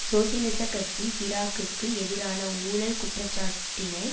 சோசியலிச கட்சி சிராக்குக்கு எதிரான ஊழல் குற்றச்சாட்டினை